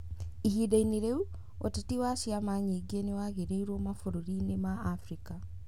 Ihinda-inĩ rĩu, ũteti wa ciama nyingĩ nĩ wagiririo mabũrũri-inĩ maingĩ ma Abirika.